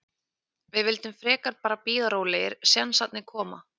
Við vildum frekar bara bíða rólegir, sénsarnir koma.